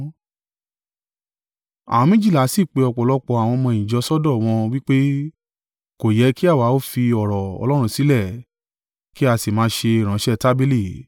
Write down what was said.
Àwọn méjìlá sì pe ọ̀pọ̀lọpọ̀ àwọn ọmọ-ẹ̀yìn jọ sọ́dọ̀, wọn wí pé, “Kò yẹ kí àwa ó fi ọ̀rọ̀ Ọlọ́run sílẹ̀, kí a sì máa ṣe ìránṣẹ́ tábìlì.